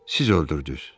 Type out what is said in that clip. Siz öldürdünüz.